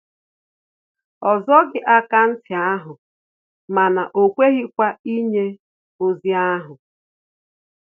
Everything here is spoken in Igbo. O zoghi akaụntụ ahụ mana o kweghịkwa inye ozi ahu